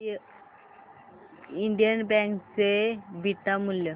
Indian bank चे beta मूल्य